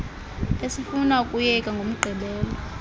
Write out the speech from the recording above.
esifuna ukuyenza ngomgqibelo